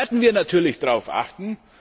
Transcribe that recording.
Da werden wir natürlich darauf achten.